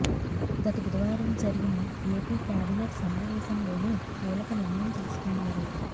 గత బుధవారం జరిగిన ఏపీ కేబినెట్ సమావేశంలోనూ కీలక నిర్ణయం తీసుకున్నారు